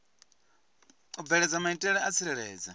u bveledza maitele a tsireledzo